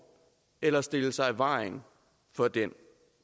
eller stille sig i vejen for den